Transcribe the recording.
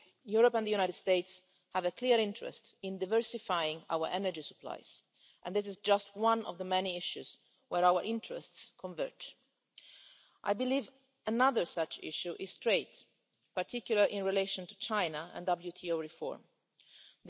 Europe and the USA have a clear interest in diversifying our energy supplies, and this is just one of the many issues where our interests converge. I believe another such issue is trade, particularly in relation to China and World Trade Organisation reform.